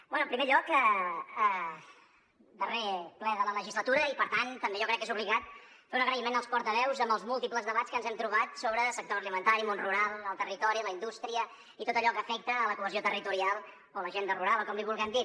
bé en primer lloc darrer ple de la legislatura i per tant també jo crec que és obligat fer un agraïment als portaveus amb els múltiples debats que ens hem trobat sobre sector alimentari món rural el territori la indústria i tot allò que afecta la cohesió territorial o l’agenda rural o com en vulguem dir